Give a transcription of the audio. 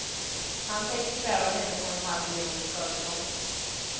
Han tänker kräva henne på en halv miljon i skadestånd.